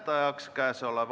Taavi Rõivas, palun!